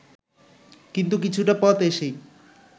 কিন্তু কিছুটা পথ এসেই